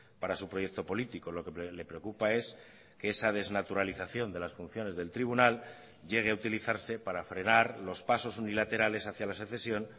para su proyecto político lo que le preocupa es que esa desnaturalización de las funciones del tribunal llegue a utilizarse para frenar los pasos unilaterales hacia la secesión